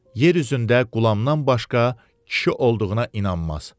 Yer üzündə Qulamdan başqa kişi olduğuna inanmaz.